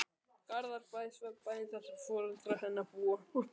Garðabæ, svefnbæinn þar sem foreldrar hennar búa.